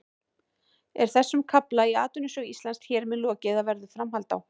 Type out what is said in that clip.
Er þessum kafla í atvinnusögu Íslands hér með lokið eða verður framhald á?